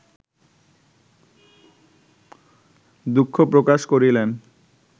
দুঃখ প্রকাশ করিলেন